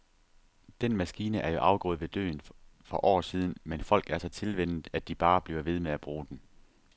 Den maskine er jo afgået ved døden for år siden, men folk er så tilvænnet, at de bare bliver ved med at bruge den.